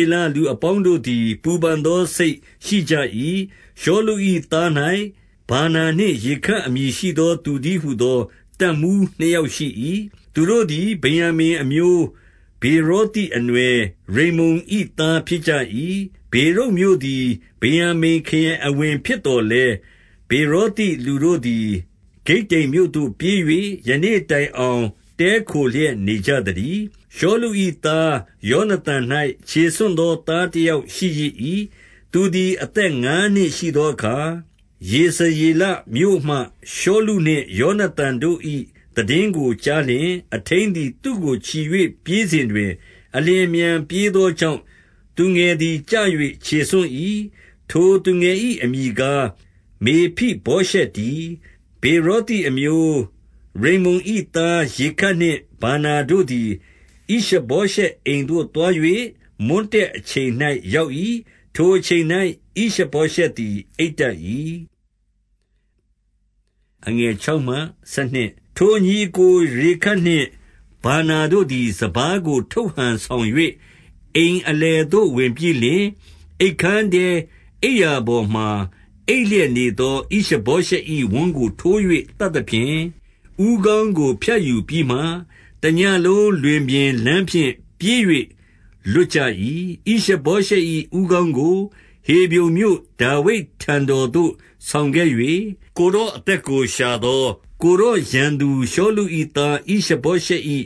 ေလလူအပေါင်းတို့သည် ပူပန်သောစိတ်ရှိကြ၏။ 2 ရှောလု၏သား၌ ဗာနာနှင့် ရေခပ်အမည် ရှိသော သူတည်းဟူသော တပ်မှူးနှစ်ယောက်ရှိ၏။ သူတို့ သည် ဗင်္ယာမိန်အမျိုးဗေရာသိအနွယ် ရိမ္မုန်၏သား ဖြစ်ကြ ၏။ ဗေရုတ်မြို့သည် ဗင်္ယာမိန်ခရိုင်အဝင်ဖြစ်သော် လည်း၊ 3 ဗေရောသိလူတို့သည် ဂိတ္တိမ်မြို့သို့ပြေး၍ ယနေ့တိုင်အောင် တည်းခိုလျက် နေကြသတည်း။ 4 ရှောလု၏သား ယောနသန်၌ ခြေဆွံ့သော သားတယောက်ရှိရစ်၏။ သူသည် အသက်ငါးနှစ်ရှိသော အခါ၊ ယေဇရေလမြို့မှ ရှောလုနှင့်ယောန သန်တို့၏ သိတင်းကိုကြားလျှင်၊ အထိန်းသည် သူ့ကိုချီ၍ ပြေးစဉ် တွင်၊ အလျင်အမြန်ပြေးသောကြောင့်၊ သူငယ်သည် ကျ၍ ခြေဆွံ့၏။ ထိုသူငယ်၏အမည်ကား မေဖိဗောရှက်တည်း။ 5 ဗေရောသိအမျိုး ရိမ္မုန်၏သားရေခပ်နှင့် ဗာနာတို့ သည် ဣရှဗောရှက်အိမ်သို့သွား၍ မွန်းတည့်အချိန်၌ ရောက်၏။ ထိုအချိန်၌ ဣရှဗောရှက်သည် အိပ်တတ်၏။ 6 ထိုညီအစ်ကိုရေခပ်နှင့် ဗာနာတို့သည် စပါးကို ထုတ်ဟန်ဆောင်၍ အိမ်အလယ်သို့ ဝင်ပြီးလျှင်၊ 7 အိပ်ခန်းထဲ အိပ်ရာပေါ်မှာ အိပ်လျက်နေသော ဣရှဗောရှက်၏ဝမ်းကို ထိုး၍သတ်သဖြင့်၊ ဦးခေါင်းကို ဖြတ်ယူပြီးမှ တညဉ့်လုံးလွင်ပြင်လမ်းဖြင့်ပြေး၍ လွတ်ကြ ၏။ 8 ဣရှဗောရှက်၏ ဦးခေါင်းကို ဟေဗြုန်မြို့ဒါဝိဒ် ထံတော်သို့ ဆောင်ခဲ့၍၊ ကိုယ်တော်အသက်ကိုရှာသော ကိုယ်တော်ရန်သူရှောလု၏ သားဣရှဗောရှက်၏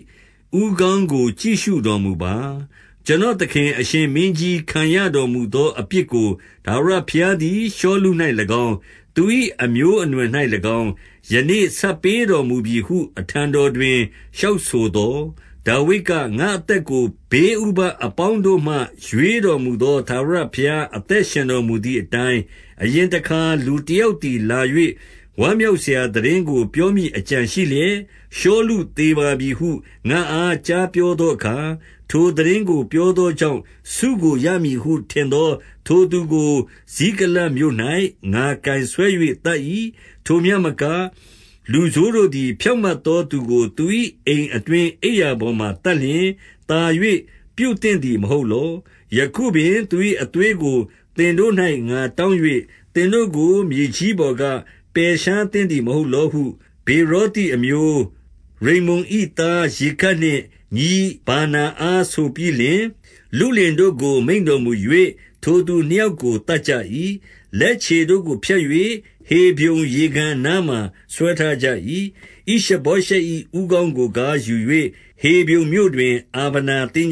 ဦးခေါင်းကို ကြည့်ရှုတော်မူပါ။ ကျွန်တော်သခင် အရှင် မင်းကြီးခံရတော်မူသော အပြစ်ကိုထာဝရဘုရားသည် ရှောလု၌၎င်း၊ သူ၏အမျိုးအနွယ်၌၎င်း၊ ယနေ့ဆပ်ပေး တော်မူပြီဟု အထံတော်တွင် လျှောက်ဆိုသော်၊ 9 ဒါဝိဒ်က၊ ငါ့အသက်ကို ဘေးဥပဒ်အပေါင်းတို့မှ ရွေးတော်မူသော ထာဝရဘုရား အသက်ရှင်တော်မူ သည်အတိုင်း၊ 10 အရင်တခါလူတယောက်သည် လာ၍ ဝမ်းမြောက်စရာသိတင်းကိုပြောမည်အကြံရှိလျက်၊ ရှောလု သေပါပြီဟု ငါ့အားကြားပြောသောအခါ၊ ထိုသိတင်းကို ပြောသောကြောင့် ဆုကိုရမည်ဟု ထင်သောထိုသူကို၊ ဇိကလတ်မြို့၌ ငါကိုင်ဆွဲ၍သတ်၏။ 11 ထိုမျှမက လူဆိုးတို့သည် ဖြောင့်မတ်သောသူကိုသူ၏ အိမ်အတွင်း အိပ်ရာပေါ်မှာသတ်လျှင်၊ သာ၍ ပြုသင့်သည်မဟုတ်လော။ ယခုပင်သူ၏ အသွေးကို သင်တို့၌ ငါတောင်း၍ သင်တို့ကိုမြေကြီးပေါ်က ပယ်ရှားသင့်သည်မဟုတ်လောဟု ဗေရောသိအမျိုး၊ ရိမ္မုန်၏သားရေခပ်နှင့် ညီဗာနာအားဆိုပြီးလျှင်၊ 12 လုလင်တို့ကကိုမိန့်တော်မူ၍ ထိုသူနှစ်ယောက် ကိုက်သတ်ကြ၏။ လက်ခြေတို့ကိုဖြတ်၍ ဟေဗြုန် ရေကန်အနားမှာ ဆွဲထားကြ၏။ ဣရှဗောရှက်၏ ဦးခေါင်းကိုကားယူ၍ ဟေဗြုန်မြို့တွင် အားဗနာသင်္